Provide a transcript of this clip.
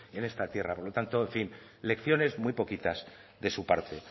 en esta tierra por lo tanto en fin lecciones muy poquitas de su parte